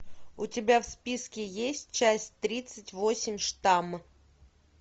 у тебя в списке есть часть тридцать восемь штамм